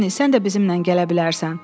Pony, sən də bizimlə gələ bilərsən.